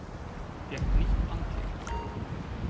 Fékk nýtt andlit